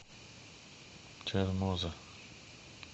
чермоза